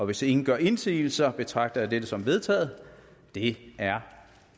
hvis ingen gør indsigelse betragter jeg dette som vedtaget det er